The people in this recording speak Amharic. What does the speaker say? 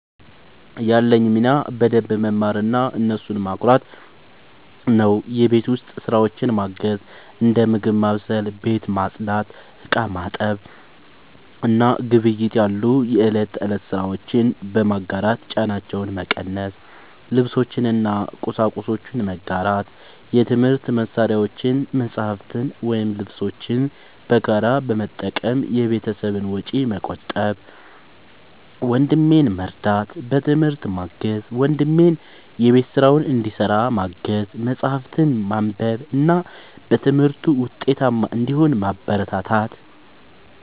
ያለኝ ሚና በደንብ መማርና እነሱን ማኩራት ነው። የቤት ውስጥ ስራዎችን ማገዝ፦ እንደ ምግብ ማብሰል፣ ቤት ማጽዳት፣ ዕቃ ማጠብ እና ግብይት ያሉ የእለት ተእለት ስራዎችን በመጋራት ጫናቸውን መቀነስ። ልብሶችን እና ቁሳቁሶችን መጋራት፦ የትምህርት መሳሪያዎችን፣ መጽሐፍትን ወይም ልብሶችን በጋራ በመጠቀም የቤተሰብን ወጪ መቆጠብ። ወንድሜን መርዳት፦ በትምህርት ማገዝ፦ ወንድሜን የቤት ስራውን እንዲሰራ ማገዝ፣ መጽሐፍትን ማንበብ እና በትምህርቱ ውጤታማ እንዲሆን ማበረታታት።